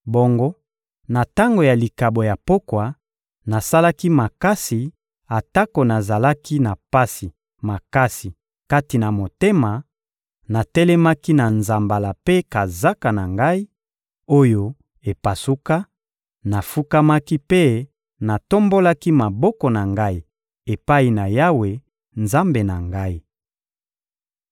Bongo na tango ya likabo ya pokwa, nasalaki makasi atako nazalaki na pasi makasi kati na motema, natelemaki na nzambala mpe kazaka na ngai, oyo epasuka; nafukamaki mpe natombolaki maboko na ngai epai na Yawe, Nzambe na ngai.